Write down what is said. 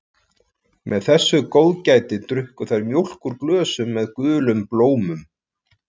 Með þessu góðgæti drukku þær mjólk úr glösum með gulum blómum.